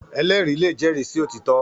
Èlèrí lé jèrí si ótitò